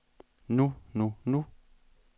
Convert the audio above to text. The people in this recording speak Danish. nu nu nu